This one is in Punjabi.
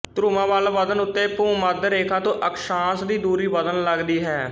ਧਰੁਵਾਂ ਵੱਲ ਵਧਣ ਉੱਤੇ ਭੂਮੱਧ ਰੇਖਾ ਤੋਂ ਅਕਸ਼ਾਂਸ਼ ਦੀ ਦੂਰੀ ਵਧਣ ਲੱਗਦੀ ਹੈ